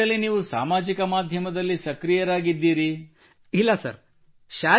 ಹಾಗಿದ್ದಲ್ಲಿ ನೀವು ಸಾಮಾಜಿಕ ಮಾಧ್ಯಮದಲ್ಲಿ ಸಕ್ರಿಯರಾಗಿದ್ದೀರಿ so you are active on social media